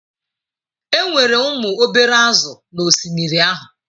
Enwere ụmụ obere azụ̀ n'osimiri ahụ.